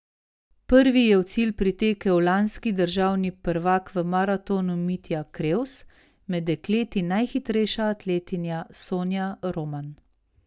Prvi je v cilj pritekel lanski državni prvak v maratonu Mitja Krevs, med dekleti najhitrejša atletinja Sonja Roman.